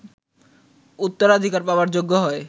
উত্তরাধিকার পাবার যোগ্য হয়